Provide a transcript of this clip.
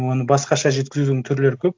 оны басқаша жеткізудің түрлері көп